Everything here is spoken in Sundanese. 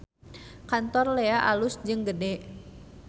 Kantor Lea alus jeung gede